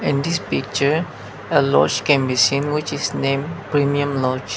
in this picture a lodge can be seen which is name premium lodge.